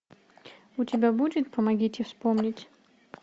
у тебя будет помогите вспомнить